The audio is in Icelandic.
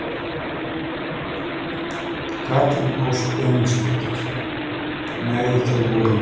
Katrín Ósk Emilsdóttir: Nei þau voru í vinnunni?